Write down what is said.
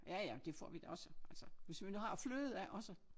Ja ja det får vi da også altså hvis vi nu har fløde også